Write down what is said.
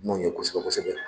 N'o ye kosɛbɛ-kosɛbɛ